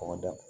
Ɔ ma dan